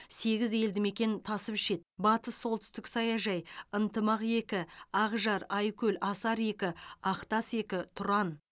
сегіз елді мекен тасып ішеді батыс солтүстік саяжай ынтымақ екі ақжар айкөл асар екі ақтас екі тұран